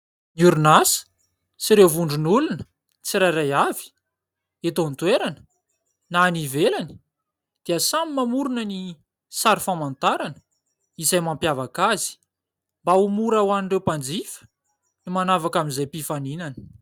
Ny orinasa sy ireo vondron'olona tsirairay avy eto an-toerana na any ivelany dia samy mamorona ny sary famantarana izay mampiavaka azy, mba ho mora ho an'ireo mpanjifa ny manavaka amin'izay mpifaninana.